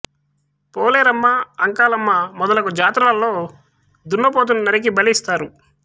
పోలేరమ్మ అంకాలమ్మ మొదలగు జాతరలలో దున్నపోతును నరికి బలి ఇస్తారు